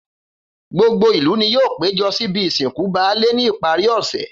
Gbogbo ìlú ni yóò péjo síbi ìsìnkú baálè ní ìparí òsè